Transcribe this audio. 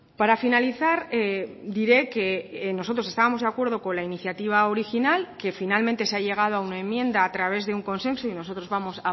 para finalizar diré que nosotros estábamos de acuerdo con la iniciativa original que finalmente se ha llegado a una enmienda a través de un consenso y nosotros vamos